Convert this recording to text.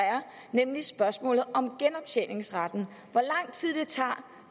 nemlig spørgsmålet om genoptjeningsretten hvor lang tid det tager